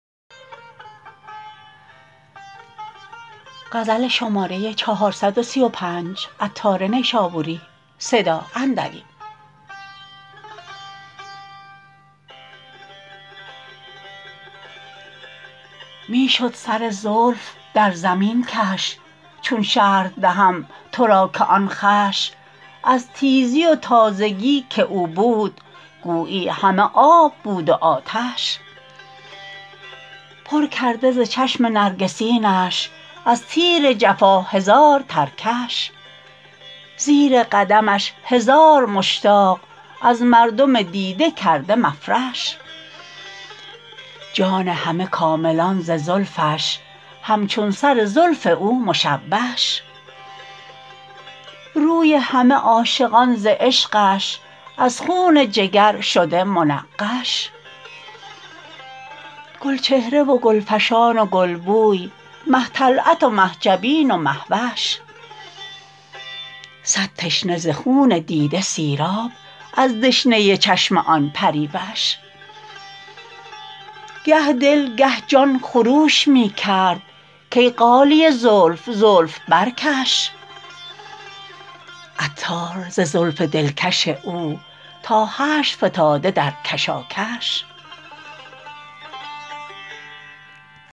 می شد سر زلف در زمین کش چون شرح دهم تو را که آن خوش از تیزی و تازگی که او بود گویی همه آب بود و آتش پر کرده ز چشم نرگسینش از تیر جفا هزار ترکش زیر قدمش هزار مشتاق از مردم دیده کرده مفرش جان همه کاملان ز زلفش همچون سر زلف او مشوش روی همه عاشقان ز عشقش از خون جگر شده منقش گل چهره و گل فشان و گل بوی مه طلعت و مه جبین و مهوش صد تشنه ز خون دیده سیراب از دشنه چشم آن پریوش گه دل گه جان خروش می کرد کای غالیه زلف زلف برکش عطار ز زلف دلکش او تا حشر فتاده در کشاکش